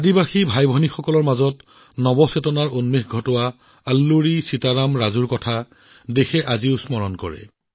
আল্লুৰী সীতাৰাম ৰাজুৱে জনজাতীয় ভাইভনীৰ মনত যি মনোভাৱ জগাই তুলিছিল সেই মনোভাৱ দেশত আজিও মনত আছে